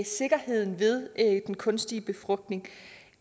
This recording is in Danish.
sikkerheden ved den kunstige befrugtning